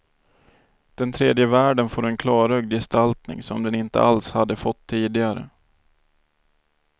Den tredje världen får en klarögd gestaltning som den inte alls hade fått tidigare.